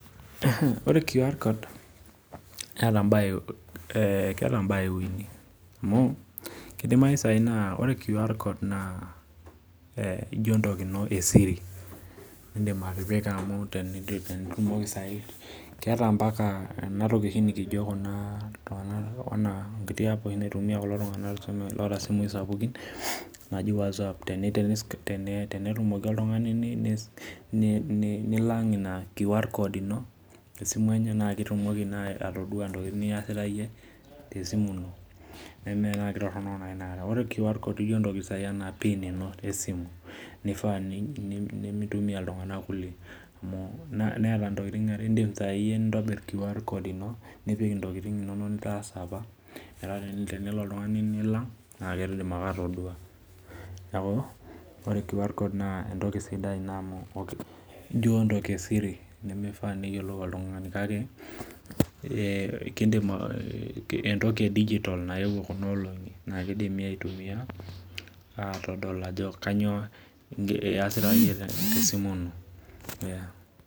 Ore qr code na keeta mbaa uni amu kidimayu tanakata ore qr code na ijo entoki ino esiri keeta mbaka oshi enatoki naitumia ntokitin sapukin naji wozap na tenetumoki oltung'ani nilang' ina qr code ino na ketumoki oltung'ani ning'orr ntokitin niasita iyie tesimu ino nemetoronok inakata nimintumia ltung'anak kulie neeta ntokitin aare neaku indim iyie nintobir qr code ino metaa enelo oltungani nilang na kidim atadua neaku entoki sidai amu ijo entoki esiri nimifaa peyiolou oltungani atadol ajo kanyio iasita tesimu ino.